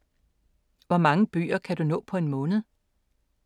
Hvor mange bøger kan du nå på en måned?